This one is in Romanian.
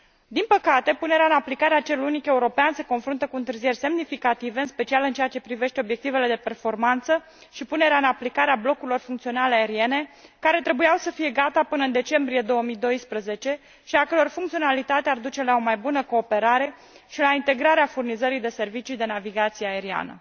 Din păcate, punerea în aplicare a cerului unic european se confruntă cu întârzieri semnificative, în special în ceea ce privește obiectivele de performanță și punerea în aplicare a blocurilor funcționale aeriene, care trebuiau să fie gata până în decembrie 2012 și a căror funcționalitate ar duce la o mai bună cooperare și la integrarea furnizării de servicii de navigație aeriană.